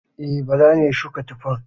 E, Bala ne ya shuka tuffa.